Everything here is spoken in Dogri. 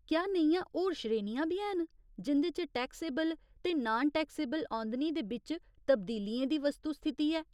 क्या नेहियां होर श्रेणियां बी हैन जिं'दे च टैक्सेबल ते नान टैक्सेबल औंदनी दे बिच्च तब्दीलियें दी वस्तु स्थिति ऐ ?